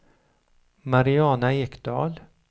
Mariana Ekdahl